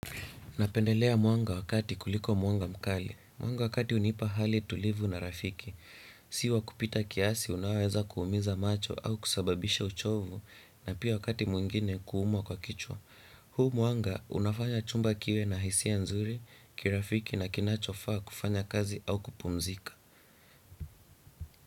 Napendelea mwanga wa kati kuliko mwanga mkali. Muanga wakati unipa hali tulivu na rafiki. Si wa kupita kiasi unaoweza kuumiza macho au kusababisha uchovu na pia wakati mwingine kuumwa kwa kichwa. Huu mwanga unafanya chumba kiwe na hisia nzuri, kirafiki na kinachofaa kufanya kazi au kupumzika.